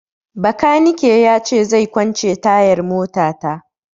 Bakanike na ya ce zai kwance tayar mota ta